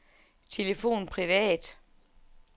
telefon privat